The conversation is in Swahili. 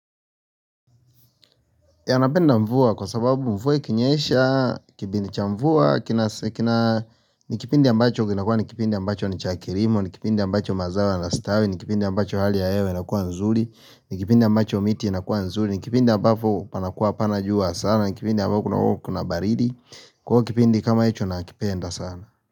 Yanapenda mvua kwa sababu mvua ikinyesha, kipindi cha mvua, kina. Ni kipindi ambacho kinakua ni kipindi ambacho ni cha kilimo, ni kipindi ambacho mazawa yanastawi, ni kipindi ambacho hali ya hewe inakua nzuri, ni kipindi ambacho miti inakua nzuri, ni kipindi ambacho panakuwa hapanajua sana, ni kipindi ambacho kuna baridi, kwa kipindi kama hicho nakipenda sana.